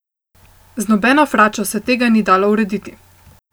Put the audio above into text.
Z nobeno fračo se tega ni dalo urediti.